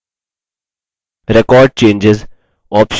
record changes option को set करने के लिए